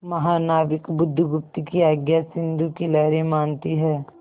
महानाविक बुधगुप्त की आज्ञा सिंधु की लहरें मानती हैं